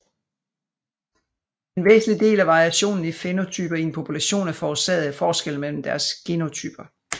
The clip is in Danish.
En væsentlig del af variationen i fænotyper i en population er forårsaget af forskelle mellem deres genotyper